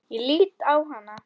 Ég lít á hana.